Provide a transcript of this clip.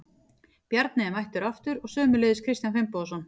Bjarni er mættur aftur og sömuleiðis Kristján Finnbogason.